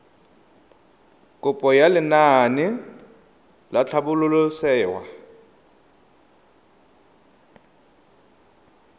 kopo ya lenaane la tlhabololosewa